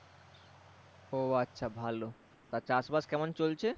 ও আচ্ছা ভালো তা চাষবাস কেমন চলছে?